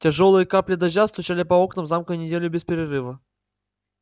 тяжёлые капли дождя стучали по окнам замка неделю без перерыва